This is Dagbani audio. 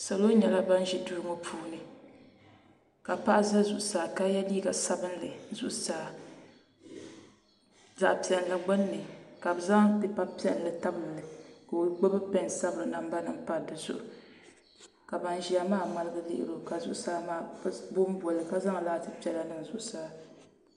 Salo nyɛla ban ʒi dui ŋo puuni ka paɣa ʒɛ zuɣusaa ka yɛ liiga sabinli zuɣusaa zaɣ piɛlli gbunni ka bi zaŋ pipa piɛlli tabilili ka o gbubi pɛn sabiri namba nimpari di zuɣu ka ban ʒiya maa ŋmaligi lihiri oka zuɣusaa maa bi bonboli ka zaŋ laati piɛla niŋ zuɣusaa